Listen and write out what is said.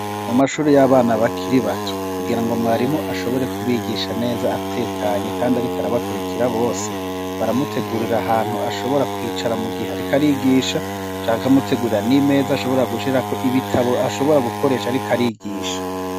Mu mashure y'abana bakiri bato kugirango mwarimu ashobore kubigisha neza atekanye kandi ariko arabakurikira bose baramutegurira ahantu ashobora kwicara mu gihe ariko arigisha canke bakamutegurira n'imeza ashobora gushirako ibitabo ashobora gukoresha ariko arigisha.